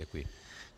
Děkuji.